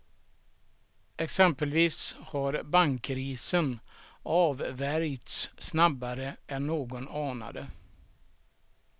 Exempelvis har bankkrisen avvärjts snabbare än någon anade.